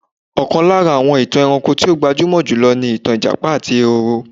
Ọ̀kan lára àwọn ìtàn ẹranko tí ó gbajúmọ̀ jùlọ ni ìtàn ijapa àti ehoro.